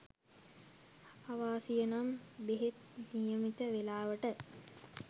අවාසියනම් බෙහෙත් නියමිත වේලාවට